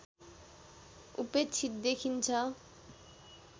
उपेक्षित देखिन्छ